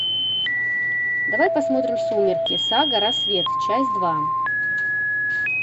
давай посмотрим сумерки сага рассвет часть два